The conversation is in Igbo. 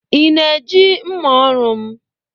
ị na-eji mma ọrụ m